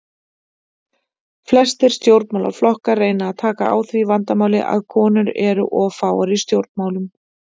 Flestir stjórnmálaflokkar reyna að taka á því vandamáli að konur eru of fáar í stjórnmálum.